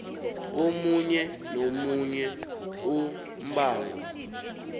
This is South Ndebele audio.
omunye nomunye umbango